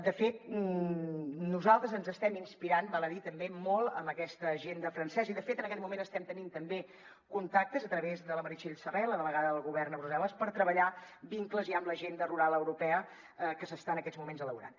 de fet nosaltres ens estem inspirant val a dir també molt en aquesta agenda francesa en aquest moment estem tenint també contactes a través de la meritxell serret la delegada del govern a brussel·les per treballar vincles ja amb l’agenda rural europea que s’està en aquests moments elaborant